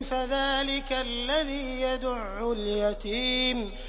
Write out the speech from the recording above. فَذَٰلِكَ الَّذِي يَدُعُّ الْيَتِيمَ